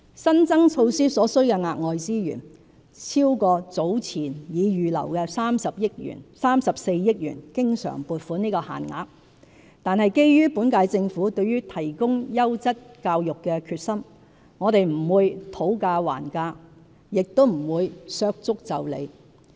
新增措施所需的額外資源超過早前已預留的34億元經常款項的限額，但基於本屆政府對提供優質教育的決心，我們不會"討價還價"，也不會"削足就履"。